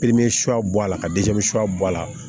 a la ka suya bɔ a la